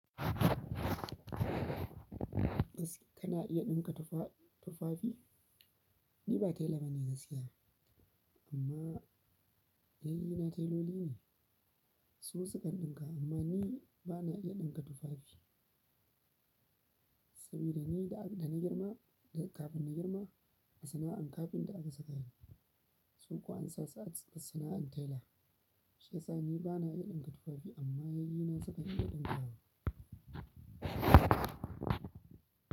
Bas, kana iya ɗinka tufaa-tufafi? Ni ba tela ba ne gaskiya, amma yayyina teloli ne. Su su kan ɗinka amma ni ba na iya ɗinka tufafi. Saboda ni da ab-da na girma, da kafin na girma, sana'an kafinta aka saka ni su kuwa an sa su a cikin sana'an tela. Shiyasa ni bana iya ɗinka tufafi. Amma yayyena su kan iya ɗinkawa.